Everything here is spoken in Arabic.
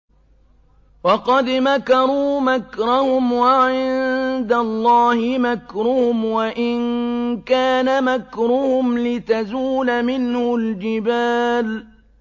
وَقَدْ مَكَرُوا مَكْرَهُمْ وَعِندَ اللَّهِ مَكْرُهُمْ وَإِن كَانَ مَكْرُهُمْ لِتَزُولَ مِنْهُ الْجِبَالُ